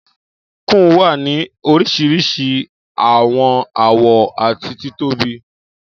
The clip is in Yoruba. Kùn wa ni orisirisi awọn awọ ati titobi.